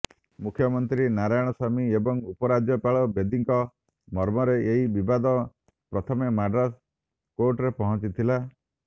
ମୁଖ୍ୟମନ୍ତ୍ରୀ ନାରାୟଣସ୍ୱାମୀ ଏବଂ ଉପରାଜ୍ୟପାଳ ବେଦୀଙ୍କ ମ୍ମରେ ଏହି ବିବାଦ ପ୍ରଥମେ ମାଡ୍ରାସ ହାଇକୋର୍ଟରେ ପହଞ୍ଚିଥିଲା